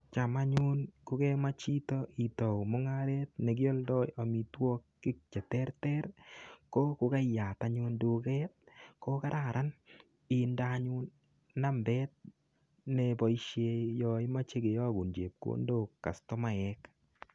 Cham anyun ko kemach chito itau mungaret nekioldo amitwogik cheterter, ko kokaiyat anyun duket ko kararan indeanyun nambet neboisie yo imochekiyagun chepkondok, kastomaek.